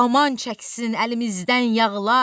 Aman çəksin əlimizdən yağlar,